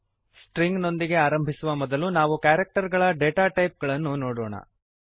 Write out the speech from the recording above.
string ನೊಂದಿಗೆ ಆರಂಭಿಸುವ ಮೊದಲು ನಾವು ಕ್ಯಾರಕ್ಟರ್ ಗಳ ಡಾಟ ಟೈಪ್ ಗಳನ್ನು ನೋಡೋಣ